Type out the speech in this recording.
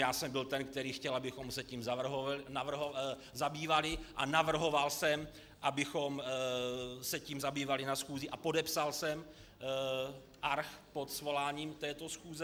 Já jsem byl ten, který chtěl, abychom se tím zabývali, a navrhoval jsem, abychom se tím zabývali na schůzi, a podepsal jsem arch pod svoláním této schůze.